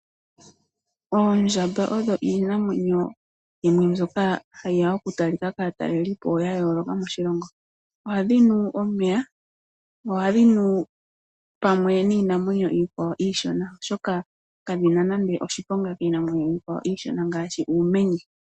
Oondjamba odho iinamwenyo yimwe mbyoka hayiya okutalika kaatalelipo ya yooloka moshilongo. Ohadhi nu omeya, nohadhinu pamwe niinamwenyo iikwawo iishona, oshoka kadhina nande oshiponga shasha kiinamwenyo iishona, ngaashi uumenye.